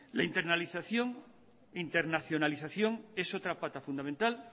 la internacionalización es otra pata fundamental